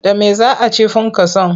Da me za a ci funkason?